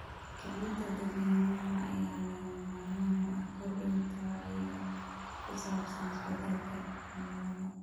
Kicinta dadweynaha ayaa lagama maarmaan u ah kordhinta wacyiga ku saabsan isbeddelka cimilada.